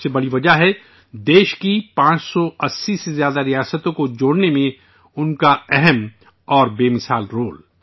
سب سے بڑی وجہ ہے ملک کی 580 سے زیادہ ریاستوں کو جوڑنے میں ان کا بے مثال کردار